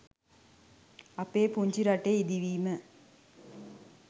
අපේ පුංචි රටේ ඉදිවීම